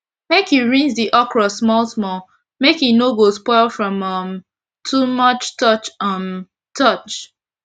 make u rinse d okro small small make e no go spoil from um too much touch um touch